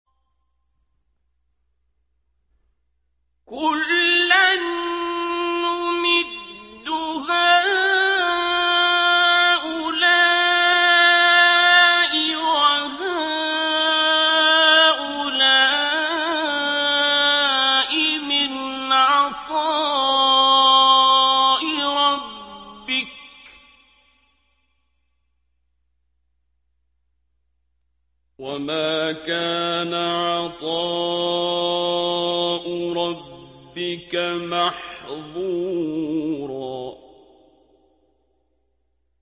كُلًّا نُّمِدُّ هَٰؤُلَاءِ وَهَٰؤُلَاءِ مِنْ عَطَاءِ رَبِّكَ ۚ وَمَا كَانَ عَطَاءُ رَبِّكَ مَحْظُورًا